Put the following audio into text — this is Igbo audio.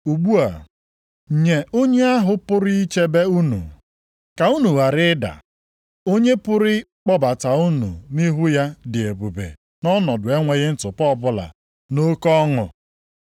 Ugbu a, nye onye ahụ pụrụ ichebe unu, ka unu ghara ịda, onye pụrụ ịkpọbata unu nʼihu ya dị ebube nʼọnọdụ enweghị ntụpọ ọbụla nʼoke ọṅụ